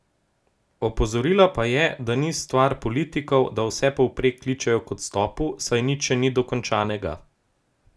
Opozorila pa je, da ni stvar politikov, da vsepovprek kličejo k odstopu, saj nič še ni dokončnega.